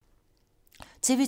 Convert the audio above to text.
TV 2